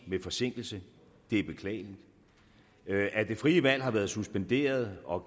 med forsinkelse det er beklageligt at det frie valg har været suspenderet og